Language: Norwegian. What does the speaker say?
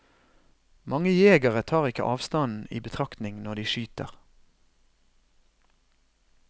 Mange jegere tar ikke avstanden i betraktning når de skyter.